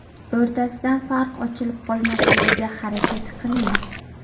O‘rtasidan farq ochilib qolmasligiga harakat qiling.